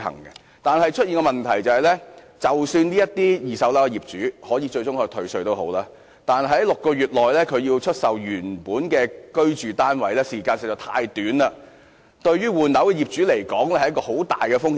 現在出現的問題是，即使二手住宅物業的業主最終可獲退稅，但要在6個月內出售其原本的居住單位，時間實在太短，對於換樓的業主來說是很大的風險。